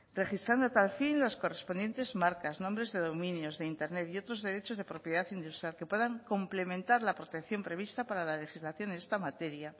registrando a tal fin las correspondientes marcas nombres de dominios de internet y otros derechos de propiedad industrial que puedan complementar la protección prevista para la legislación en esta materia